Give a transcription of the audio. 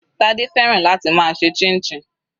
Tade fẹ́ràn láti máa ṣe chinchin.